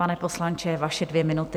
Pane poslanče, vaše dvě minuty.